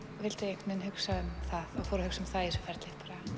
vildi hugsa um það og fór að hugsa um það í þessu ferli